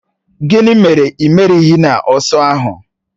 Gịnị mere ị merighi n'ọsọ ahụ?